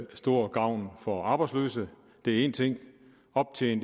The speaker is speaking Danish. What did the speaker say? til stor gavn for arbejdsløse det er én ting